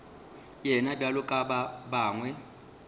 yena bjalo ka ba bangwe